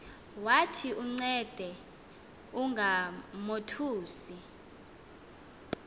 wathi uncede ungamothusi